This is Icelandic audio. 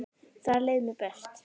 Þar leið mér best.